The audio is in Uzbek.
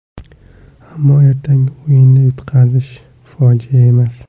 Ammo ertangi o‘yinda yutqazish fojia emas.